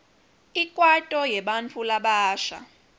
ikwaito yebantfu labasha